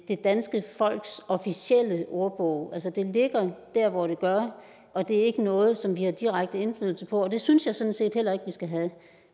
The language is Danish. det danske folks officielle ordbog altså det ligger der hvor det gør og det er ikke noget som vi har direkte indflydelse på og det synes jeg sådan set heller ikke at vi skal have